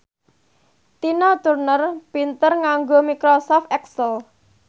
Tina Turner pinter nganggo microsoft excel